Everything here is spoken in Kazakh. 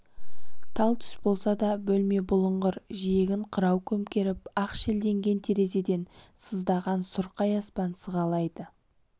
тал түс болса да бөлме бұлыңғыр жиегін қырау көмкеріп ақ шелденген терезеден сыздаған сұрқай аспан сығалайды